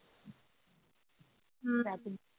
ਹਮ